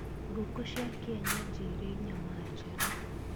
Ngũkũ cia kienyeji ĩrĩ nyama njega.